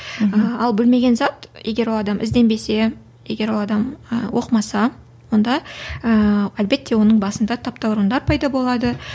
мхм а білмеген зат егер ол адам ізденбесе егер ол адам ы оқымаса онда ыыы әлбетте оның басында таптауырындар пайда болады